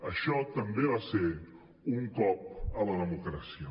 això també va ser un cop a la democràcia